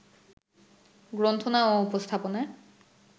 গ্রন্থনা ও উপস্থাপনায়